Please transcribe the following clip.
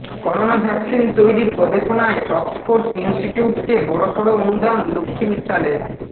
corona vaccine তৈরির গবেষণায় Oxford ইনস্টিটিউটকে বড়সড় অনুদান লক্ষ্মী মিত্তালের